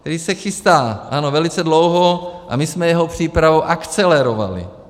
Tedy se chystá, ano, velice dlouho, a my jsme jeho přípravu akcelerovali.